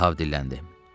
Ahav dilləndi.